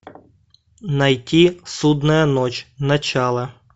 найти судная ночь начало